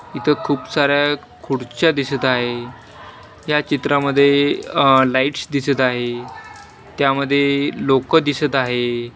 इथं खूप साऱ्या खुडच्या दिसत आहे या चित्रामध्ये लाईट्स दिसत आहे त्यामध्ये लोक दिसत आहे.